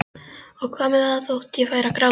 Og hvað með það þótt ég færi að gráta?